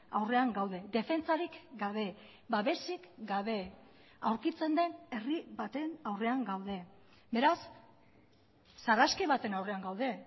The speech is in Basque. aurrean gaude defentsarik gabe babesik gabe aurkitzen den herri baten aurrean gaude beraz sarraski baten aurrean gaude